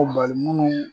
Ko balimamuw